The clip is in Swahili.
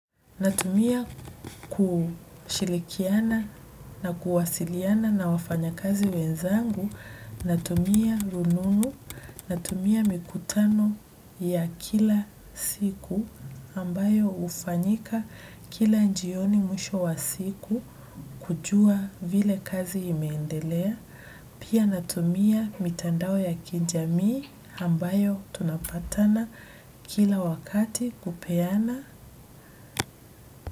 Natumia kushirikiana na kuwasiliana na wafanya kazi wenzangu, natumia rununu, natumia mikutano ya kila siku ambayo hufanyika kila jioni mwisho wa siku kujua vile kazi imeendelea. Pia natumia mitandao ya kijamii ambayo tunapatana kila wakati kupeana.